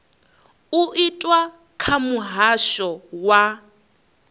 u itwa kha muhasho wa